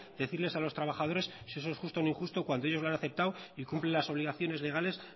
decirles a los trabajadores si eso es justo o injusto cuando ellos lo han aceptado y cumplen las obligaciones legales